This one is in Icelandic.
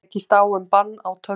Tekist á um bann á tölvuleikjum